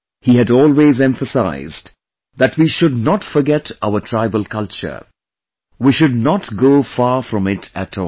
He had always emphasized that we should not forget our tribal culture, we should not go far from it at all